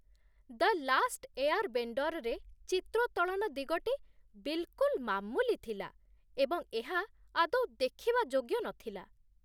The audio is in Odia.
ଦ ଲାଷ୍ଟ୍ ଏୟାର୍‌ବେଣ୍ଡର୍‌ରେ ଚିତ୍ରୋତ୍ତୋଳନ ଦିଗଟି ବିଲ୍‌କୁଲ୍ ମାମୁଲି ଥିଲା, ଏବଂ ଏହା ଆଦୌ ଦେଖିବା ଯୋଗ୍ୟ ନଥିଲା।